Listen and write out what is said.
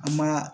An ma